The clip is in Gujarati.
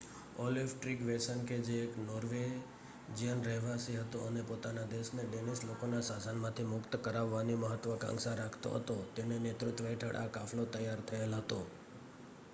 ઓલેફ ટ્રીગવેસન કે જે એક નોર્વેજિયન રહેવાસી હતો અને પોતાના દેશને ડેનિશ લોકોના શાસનમાંથી મુક્ત કરાવવાની મહત્વકાંક્ષા રાખતો હતો તેના નેતૃત્વ હેઠળ આ કાફલો તૈયાર થયેલ હતો